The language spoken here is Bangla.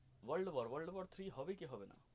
World war world war three হবে কি হবে না.